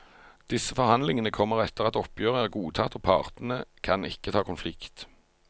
Disse forhandlingene kommer etter at oppgjøret er godtatt og partene kan ikke ta konflikt.